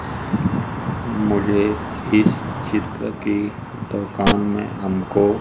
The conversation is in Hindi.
मुझे इस चित्र की दुकान में हमको--